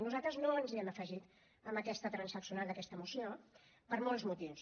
nosaltres no ens hi hem afegit en aquesta transaccional d’aquesta moció per molts motius